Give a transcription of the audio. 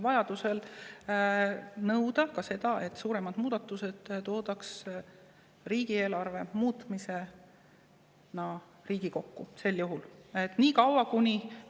Vajaduse korral saab nõuda ka seda, et riigieelarve suuremad muudatused toodaks Riigikokku.